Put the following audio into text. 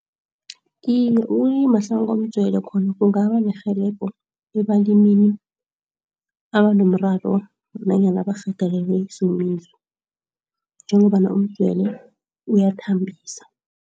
Iye ukulima hlanukomdzwele khona kungaba nerhelebho ebalimini abanomraro nanyana abarhagalelwe sisomiso njengombana umdzwele uyathambisa.